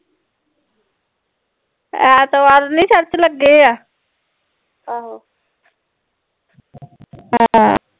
ਐਤਵਾਰ ਨੀ ਚਰਚ ਲੱਗੇ ਆ